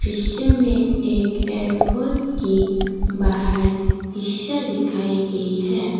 दृश्य में एक एयरपोर्ट की बाहर हिस्सा दिखाई गई है।